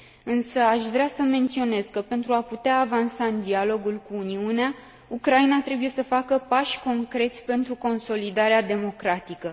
Însă aș vrea să menționez că, pentru a putea avansa în dialogul cu Uniunea, Ucraina trebuie să facă pași concreți pentru consolidarea democratică.